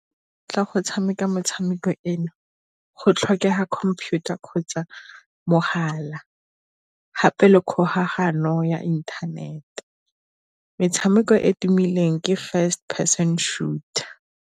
Ka go tshameka metshameko eno go tlhokega computer kgotsa mogala gape le kgolagano ya inthanete metshameko e e tumileng ke First Person Shooter.